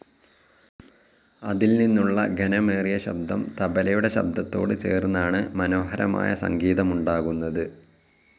അതിൽനിന്നുള്ള ഘനമേറിയ ശബ്ദം തബലയുടെ ശബ്ദത്തോട് ചേർന്നാണു മനോഹരമായ സംഗീതമുണ്ടാകുന്നത്.